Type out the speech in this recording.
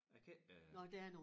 Jeg kan ikke øh